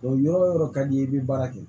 O yɔrɔ o yɔrɔ ka di i ye i bɛ baara kɛ